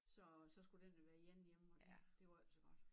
Så så skulle den jo være ene hjemme det var ikke så godt